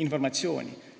informatsiooni.